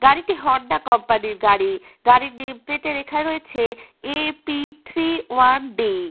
গাড়িটি Honda company র গাড়ি গাড়ির নেম প্লেটে লেখা রয়েছে এ.পি থ্রী ওয়ান ডি .